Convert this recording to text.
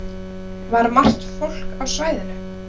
Var margt fólk á svæðinu?